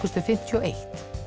fimmtíu og eitt